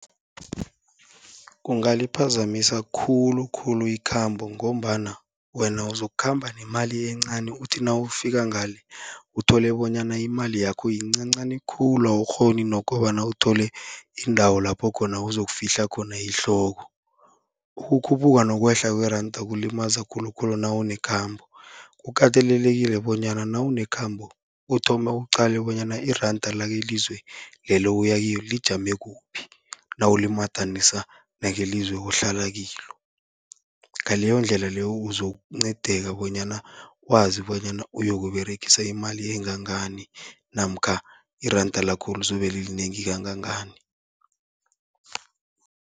Kungaliphazamisa khulukhulu ikhambo, ngombana wena uzokukhamba nemali encani uthi nawufika ngale, uthole bonyana imali yakho yincancani khulu awukghoni nokobana uthole indawo lapho khona uzokufihla khona ihloko. Ukukhuphuka nokwehla kweranda kulimaza khulukhulu nawunekhambo, kukatelelekile bonyana nawunekhambo uthome uqale bonyana iranda lakelizwe leli oya kilo lijame kuphi, nawulimadanisa nakelizwe ohlala kilo. Ngaleyondlela leyo uzokuncedeka bonyana wazi bonyana uyokuberegisa imali engangani namkha iranda lakho lizobe lilinengi kangangani.